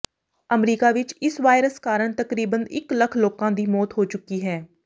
America ਵਿਚ ਇਸ virus ਕਾਰਨ ਤਕਰੀਬਨ ਇਕ ਲੱਖ ਲੋਕਾਂ ਦੀ ਮੌਤ ਹੋ ਚੁੱਕੀ ਹੈ